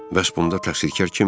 Bəs bunda təqsirkar kim idi?